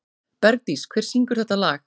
Bergdís, hver syngur þetta lag?